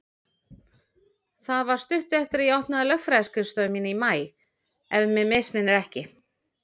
Það var stuttu eftir að ég opnaði lögfræðiskrifstofu mína í maí, ef mig misminnir ekki.